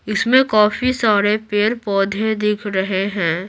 इसमें काफी सारे पेड़-पौधे दिख रहे हैं।